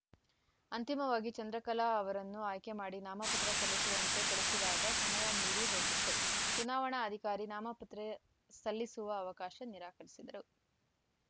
ಅಂತಿಮವಾಗಿ ಚಂದ್ರಕಲಾ ಅವರನ್ನು ಆಯ್ಕೆ ಮಾಡಿ ನಾಮಪತ್ರ ಸಲ್ಲಿಸುವಂತೆ ಕಳಿಸಿದಾಗ ಸಮಯ ಮೀರಿ ಹೋಗಿತ್ತು ಚುನಾವಣಾ ಅಧಿಕಾರಿ ನಾಮಪತ್ರ ಸಲ್ಲಿಸುವ ಅವಕಾಶ ನಿರಾಕರಿಸಿದರು